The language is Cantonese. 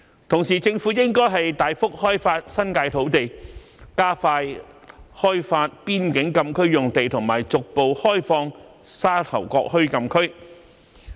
同時，政府應大幅開發新界土地，加快開發前邊境禁區用地和逐步開放沙頭角墟禁區。